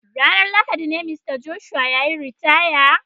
Ranar Lahadi ne dai Mista Joshua ya yi ritaya.